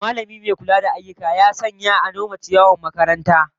Mallamin mai kula da ayyuka ya sanya ayyukan nome ciyawar makarantar